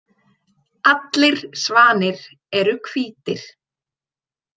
Allir svanir eru hvítir.